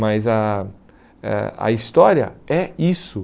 Mas a eh história é isso.